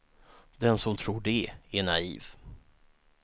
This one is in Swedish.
Den som tror det är naiv.